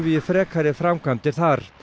í frekari framkvæmdir þar